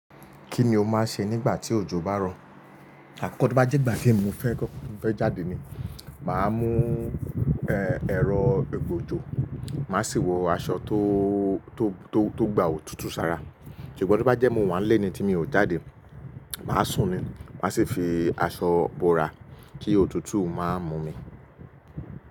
Kí ni o máa ń ṣe nígbà tí òjò bá rọ̀? Àkọ́kọ́ tí ó bá jẹ́ ìgbà tí èmi fẹ́ jáde ni, màá mú ẹrọ ìgba òjò, màá sì wọ aṣọ tó, tó, tó gbà òtútù sára. Ṣùgbọ́n tí ó bá jẹ́ mo wà ńlé ni tí mi ò jáde, màá sùn ni, màá sì fi aṣọ bora kí òtútù má mú mi.